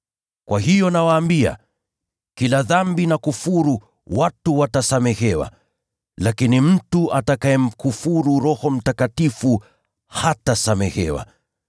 Kwa hiyo nawaambia, kila dhambi na kufuru watu watasamehewa, lakini mtu atakayemkufuru Roho Mtakatifu hatasamehewa.